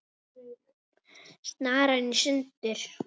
Snaran í sundur.